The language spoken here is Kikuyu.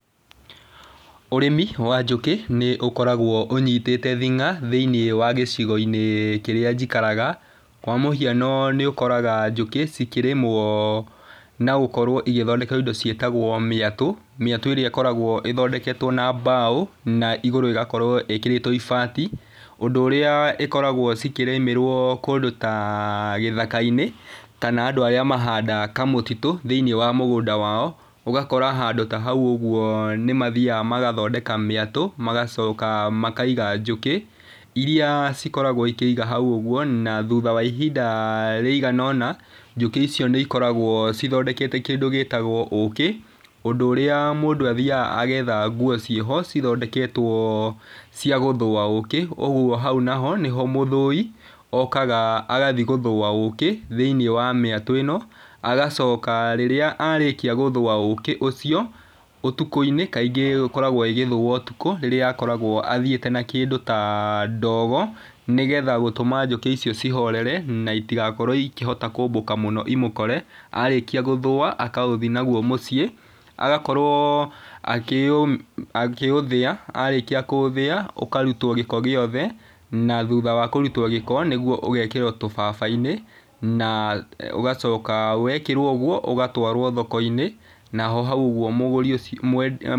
Ũrĩmi wa njũkĩ nĩ ũkoragwo ũnyitĩte thing'a thiĩni wa gicigo kĩrĩa njĩkaraga. Kwa mũhiano nĩ ũkoraga njũkĩ cikĩrĩmwo na gũkorwo ĩgĩthondekerwo ĩndo ciĩtagwo mĩatũ. Mĩatũ ĩrĩa ĩkoragwo ĩthondeketwo na mbaũ na ĩgũrũ ĩgakorwo ĩkĩrĩtwo ibati. Ũndũ ũrĩa ikoragwo cikĩrĩmĩrwo kũndũ ta gĩthakainĩ kana andũ arĩa mahandaga kamũtitũ thiĩni wa mũgũnda wao. Ũgakora handũ ta hau ũguo nĩ mathiaga magathondeka mĩatũ, magacoka makaiga njũkĩ. Ĩrĩa cikoragwo ĩkeiga hau ũguo na thutha wa ihinda rĩigana ona, njũkĩ icio nĩ ikoragwo cithondekete kĩndũ gĩtagwo ũkĩ. Ũndũ ũrĩa mũndũ athiaga agetha nguo cieho cithondeketwo cia gũthũa ũkĩ. Ũguo hau naho nĩho mũthũũi okaga agathiĩ gũthũũa ũũkĩ thĩini wa mĩatũ ĩno. Agacooka rĩrĩa arĩkia gũthũũa ũũkĩ ũcio ũtukũinĩ kaingĩ ĩkoragwo ĩgĩthũũo ũtukũ. Rĩrĩa akoragwo athiĩte na kĩndũ ta ndogo nĩ getha gũtũma njũkĩ icio cihorere na itigakorwo ikĩhota kũmbũka mũno imũkore. Arĩkia gũthũũa agathiĩ naguo mũcii. Agakorwo akĩũthĩa. Arĩkia kũũthĩa, ũkarutwo gĩko giothe na thũtha wa kũrutwo gĩko nĩguo ũgekirwo tubaba-inĩ na ũgacoka wĩkĩrwo ũguo ũgatwarwo thokoinĩ.